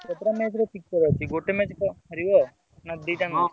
କେତେଟା match